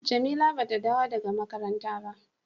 Jamila ba ta dawo daga makaranta ba.